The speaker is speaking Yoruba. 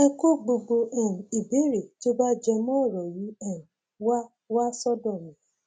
ẹ kó gbogbo um ìbéèrè tó bá jẹ mọ ọrọ yìí um wá wá sọdọ mi